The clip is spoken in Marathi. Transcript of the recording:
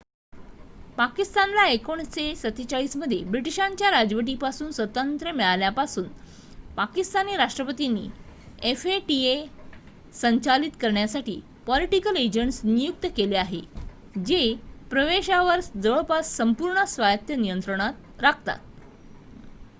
"पाकिस्तानला 1947 मध्ये ब्रिटीशांच्या राजवटीपासून स्वातंत्र्य मिळाल्यापासून पाकिस्तानी राष्ट्रपतींनी fata संचालित करण्यासाठी "पॉलिटिकल एजंट्स" नियुक्त केले आहेत जे प्रदेशावर जवळपास संपूर्ण स्वायत्त नियंत्रण राखतात.